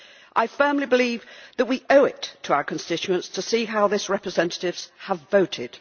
I firmly believe that we owe it to our constituents to see how their representatives have voted.